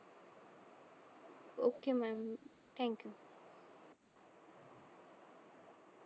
ok mam thank you